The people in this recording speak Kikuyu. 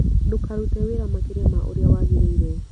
Ndũkarute wĩra makĩria ma ũrĩa wagĩrĩire